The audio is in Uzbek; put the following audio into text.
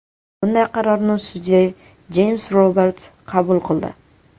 Bunday qarorni sudya Jeyms Robart qabul qildi.